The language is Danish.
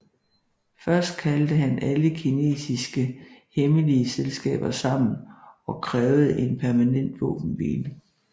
Først kaldte han alle kinesiske hemmelige selskaber sammen og krævede en permanent våbenhvile